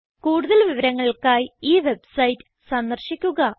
കൂടുതൽ വിവരങ്ങൾക്കായി ഈ വെബ്സൈറ്റ് സന്ദർശിക്കുക